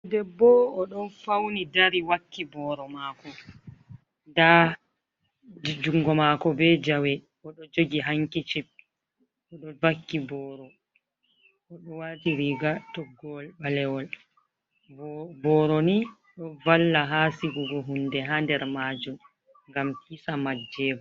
Debbo o ɗon fawni dari wakki booro maako. Ndaa junngo maako bee jawe o ɗo jogi hankicip o ɗo vakki booro o ɗo waati riga toggowol ɓalewol. Booro ni ɗo valla haa sigugo huunde haa nder maajum ngam hisa majjeego.